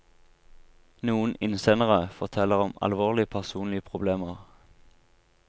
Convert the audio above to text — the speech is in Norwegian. Noen innsendere forteller om alvorlige personlige problemer.